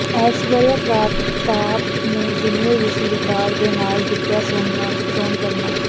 ਐਸ਼ਵਰਿਆ ਪ੍ਰਤਾਪ ਨੇ ਜੂਨੀਅਰ ਵਿਸ਼ਵ ਰਿਕਾਰਡ ਦੇ ਨਾਲ ਜਿੱਤਿਆ ਸੋਨ ਤਮਗਾ